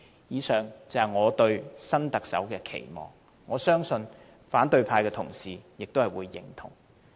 以上是我對新特首的期望，我相信反對派同事也會認同。